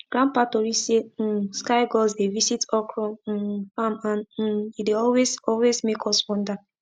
grandpa tori say um sky gods dey visit okra um farm and um e dey always always make us wonder